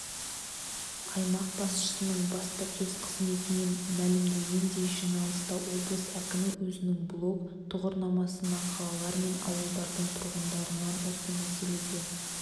аймақ басшысының баспасөз қызметінен мәлімдегендей жиналыста облыс әкімі өзінің блог-тұғырнамасына қалалар мен ауылдардың тұрғындарынан осы мәселеге